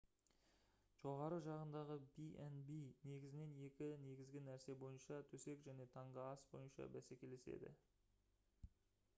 жоғарғы жағындағы b&b негізінен екі негізгі нәрсе бойынша төсек және таңғы ас бойынша бәсекелеседі